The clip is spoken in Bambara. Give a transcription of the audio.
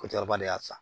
Ko cɛkɔrɔba de y'a san